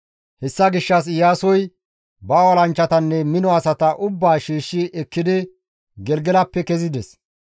Hessa gishshas Iyaasoy ba olanchchatanne mino asata ubbaa shiishshi ekkidi Gelgelappe kezides.